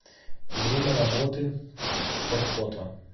время работы портфото